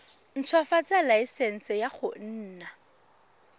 ntshwafatsa laesense ya go nna